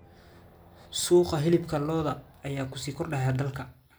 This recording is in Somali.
Suuqa hilibka lo'da ayaa ku sii kordhaya dalka.